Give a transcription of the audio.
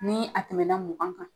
Nii a tɛmɛna mugan kan